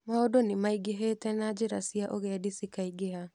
Maũndũ nĩ maingĩhĩte na njĩra cia ũgendi cĩkaingĩha.